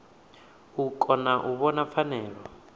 u kona u vhona pfanelo